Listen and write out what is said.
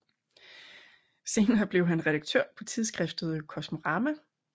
Senere blev han redaktør på tidsskriftet Kosmorama